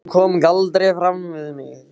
Hún kom galdri fram við mig.